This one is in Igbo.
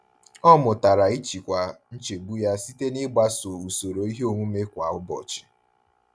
Ọ mụtara ịchịkwa nchegbu ya site n'ịgbaso usoro ihe omume kwa ụbọchị.